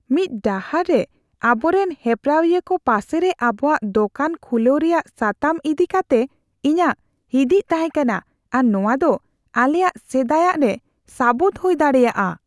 ᱢᱤᱫ ᱰᱟᱦᱟᱨ ᱨᱮ ᱟᱵᱚᱨᱮᱱ ᱦᱮᱯᱨᱟᱣᱤᱭᱟᱹ ᱠᱚ ᱯᱟᱥᱮᱨᱮ ᱟᱵᱚᱣᱟᱜ ᱫᱳᱠᱟᱱ ᱠᱷᱩᱞᱟᱹᱣ ᱨᱮᱭᱟᱜ ᱥᱟᱛᱟᱢ ᱤᱫᱤ ᱠᱟᱛᱮ ᱤᱧᱟᱹᱜ ᱦᱤᱫᱤᱡ ᱛᱟᱦᱮᱸ ᱠᱟᱱᱟ ᱟᱨ ᱱᱚᱶᱟ ᱫᱚ ᱟᱞᱮᱭᱟᱜ ᱥᱮᱫᱟᱭᱟᱜ ᱨᱮ ᱥᱟᱹᱵᱩᱫ ᱦᱩᱭ ᱫᱟᱲᱮᱭᱟᱜᱼᱟ ᱾